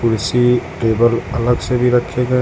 कुर्सी टेबल अलग से भी रखे गए--